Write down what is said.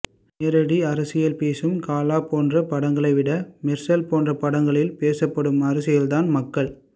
நேரடி அரசியல் பேசும் காலா போன்ற படங்களைவிட மெர்சல் போன்ற படங்களில் பேசப்படும் அரசியலைத்தான் மக்கள்